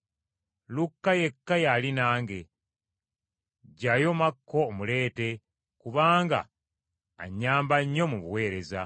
Lukka yekka y’ali nange. Ggyayo Makko omuleete, kubanga annyamba nnyo mu buweereza.